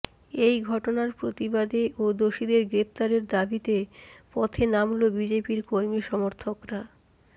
এই ঘটনার প্রতিবাদে ও দোষীদের গ্রেফতারের দাবিতে পথে নামল বিজেপির কর্মী সমর্থকরা